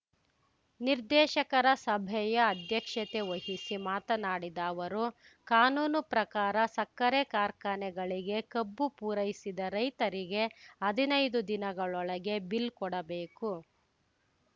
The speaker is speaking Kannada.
ನಿರ್ದೇಶಕರ ಸಭೆಯ ಅಧ್ಯಕ್ಷತೆ ವಹಿಸಿ ಮಾತನಾಡಿದ ಅವರು ಕಾನೂನು ಪ್ರಕಾರ ಸಕ್ಕರೆ ಕಾರ್ಖಾನೆಗಳಿಗೆ ಕಬ್ಬು ಪೂರೈಸಿದ ರೈತರಿಗೆ ಹದಿನೈದು ದಿನಗಳೊಳಗೆ ಬಿಲ್‌ ಕೊಡಬೇಕು